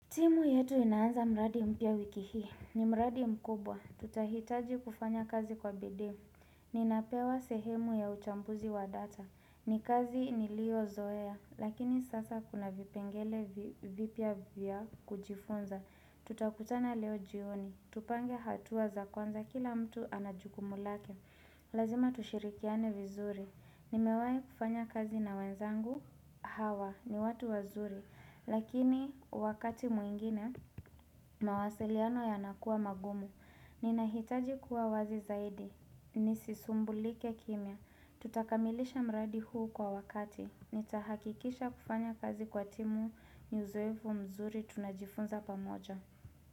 Timu yetu inaanza mradi mpya wiki hii, ni mradi mkubwa, tutahitaji kufanya kazi kwa bidii, ni napewa sehemu ya uchambuzi wa data, ni kazi niliyo zoea, lakini sasa kuna vipengele vipya vya kujifunza, tutakutana leo jioni, tupange hatuwa za kwanza kila mtu anajukumu lake, lazima tushirikiane vizuri, ni mewai kufanya kazi na wenzangu hawa, ni watu wazuri, Lakini wakati mwingine mawasiliano yanakuwa magumu Ninahitaji kuwa wazi zaidi Nisisumbulike kimia Tutakamilisha mradi huu kwa wakati Nitahakikisha kufanya kazi kwa timu uzoefu mzuri tunajifunza pamoja.